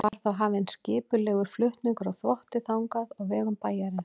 Var þá hafinn skipulegur flutningur á þvotti þangað á vegum bæjarins.